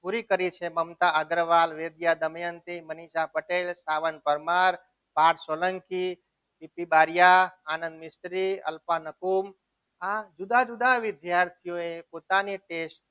પૂરી કરી છે મમતા અગ્રવાલ નિત્યાદમયંતી મનીષા પટેલ સાવંત પરમાર પાર્થ સોલંકી રિદ્ધિ બારીયા આનંદ મિસ્ત્રી કલ્પના નકુમ આ જુદા જુદા વિદ્યાર્થીઓ એ પોતાની test